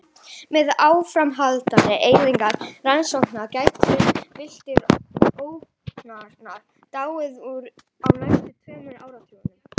Með áframhaldandi eyðingu regnskóganna gætu villtir órangútanar dáið út á næstu tveimur áratugum.